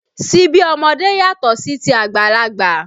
Síbi ọmọdé yàtọ̀ sí ti àgbàlagbà